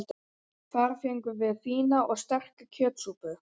Þar fengum við fína og sterka kjötsúpu.